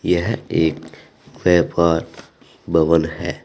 यह एक व्यापार भवन है।